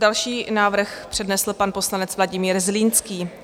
Další návrh přednesl pan poslanec Vladimír Zlínský.